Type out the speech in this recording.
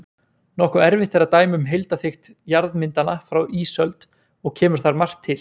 Nokkuð erfitt er að dæma um heildarþykkt jarðmyndana frá ísöld og kemur þar margt til.